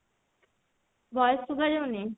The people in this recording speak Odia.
voice ଶୁଭା ଯାଉନି